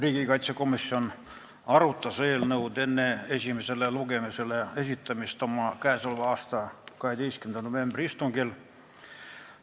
Riigikaitsekomisjon arutas eelnõu enne esimesele lugemisele esitamist oma k.a 12. novembri istungil.